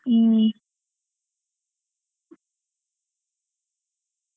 ಹ್ಮ್ .